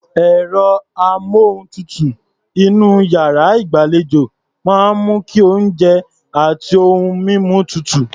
Ẹ̀rọ-amóhùntutù inú iyàrá ìgbàlejò máa ń mú kí oúnjẹ àti ohun mímu tutù.